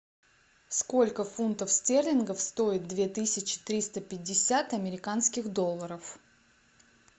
сколько фунтов стерлингов стоит две тысячи триста пятьдесят американских долларов